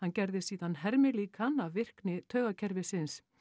gerði síðan hermilíkan af virkni taugakerfisins